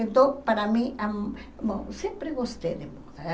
Então, para mim, ãh sempre gostei de moda.